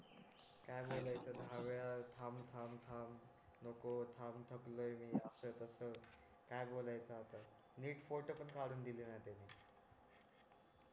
car ने जायच पण दहा वेळा थांब थांब थांब नको थांब थकलोय मी अस तस काय बोलायचं आता नीट फोटो पण काढून नई दिला त्यांनी